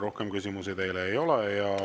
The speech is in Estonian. Rohkem küsimusi teile ei ole.